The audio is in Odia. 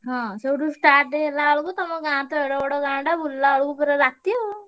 ହଁ ସେଇଠୁ start ହେଲାବେଳକୁ ତମ ଗାଁ ତ ଏଡେବଡ ଗାଁଟା ବୁଲିଲାବେଳକୁ ପୁରା ରାତି ଆଉ।